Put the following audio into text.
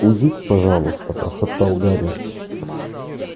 уйдите пожалуйста прошептал гарри